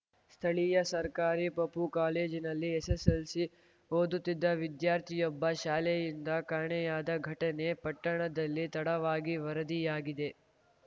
ಸ್ಥಳೀಯ ಸರ್ಕಾರಿ ಪಪೂ ಕಾಲೇಜಿನಲ್ಲಿ ಎಸ್ಸೆಸ್ಸೆಲ್ಸಿ ಓದುತ್ತಿದ್ದ ವಿದ್ಯಾರ್ಥಿಯೊಬ್ಬ ಶಾಲೆಯಿಂದ ಕಾಣೆಯಾದ ಘಟನೆ ಪಟ್ಟಣದಲ್ಲಿ ತಡವಾಗಿ ವರದಿಯಾಗಿದೆ